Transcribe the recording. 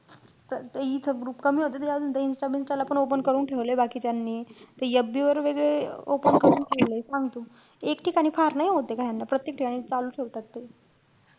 त ते इथं group कमी होते. त ते अजून insta बिन्स्टाला पण open करून ठेवलेय बाकीच्यांनी. ते FB वर वैगेरे open करून ठेवलेय, सांग तू. एक ठिकाणी फार नाई होत ते . प्रत्येक ठिकाणी चालू ठेवतात ते.